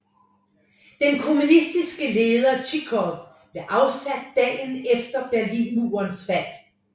Den kommunistiske leder Zhivkov blev afsat dagen efter Berlinmurens fald